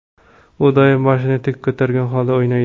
U doim boshini tik ko‘targan holda o‘ynaydi.